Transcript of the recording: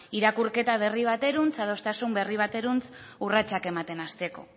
irakurketa berri bateruntz adostasun berri bateruntz urratsak ematen hasteko